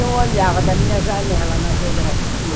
Eu olhava da minha janela na geografia